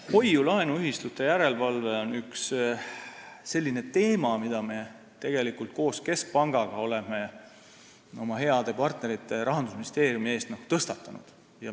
Hoiu-laenuühistute järelevalve on üks selline teema, mida me tegelikult koos keskpangaga oleme tõstatanud ka oma heade partnerite ja Rahandusministeeriumiga suheldes.